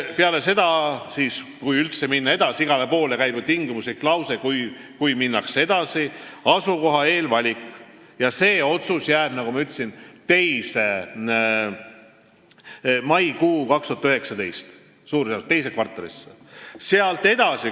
Peale seda, kui üldse minnakse edasi – igal pool on ju tingimuslikud laused –, toimub asukoha eelvalik ja see otsus jääb, nagu ma ütlesin, maikuusse 2019, teise kvartalisse.